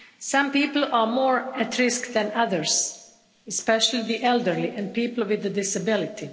Some people are more at risk than others, especially the elderly, and people with a disability.